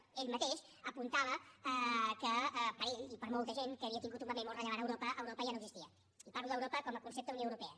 ell mateix apuntava que per a ell i per a molta gent que havia tingut un paper molt rellevant a europa europa ja no existia i parlo d’europa com a concepte unió europea